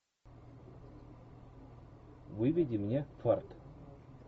выведи мне фарт